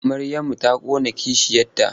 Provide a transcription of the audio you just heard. Maryamu ta ƙona kishiyarta.